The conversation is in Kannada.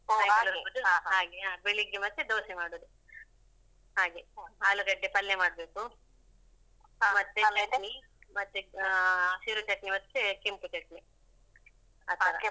ಹಾಗೆ. ಬೆಳಿಗ್ಗೆ ಮತ್ತೆ ದೋಸೆ ಮಾಡುದು ಹಾಗೆ ಆಲೂಗಡ್ಡೆ ಪಲ್ಯ ಮಾಡ್ಬೇಕು. ಮತ್ತೆ ಚಟ್ನಿ ಮತ್ತೆ ಅಹ್ ಹಸಿರು ಚಟ್ನಿ ಮತ್ತೆ ಕೆಂಪು ಚಟ್ನಿ ಆತರ.